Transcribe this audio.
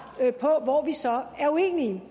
på hvor vi så er uenige